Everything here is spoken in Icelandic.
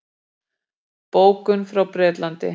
Bókum frá Bretlandi.